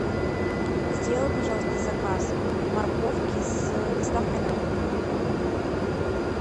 сделай пожалуйста заказ морковки с доставкой на дом